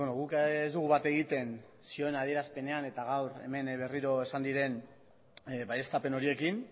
guk ez dugu bat egiten zioen adierazpenean eta gaur hemen berriro esan diren baieztapen horiekin